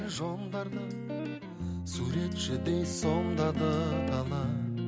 суретшідей сомдады дала